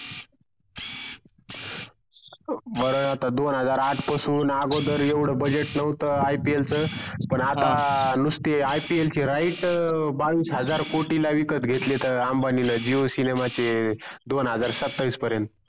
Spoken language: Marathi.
बर आता दोन हजार आठ पासून अगोदर येवड budget नोहत IPL च पण आता हा नुसते IPL चे right बावीस हजार कोटी ला विकत घेतलेत अंबाणीन jio cinema चे दोन हजार सत्तावीस पर्यन्त